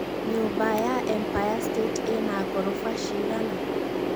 nyũmba ya empire state ĩna ngoroba cigana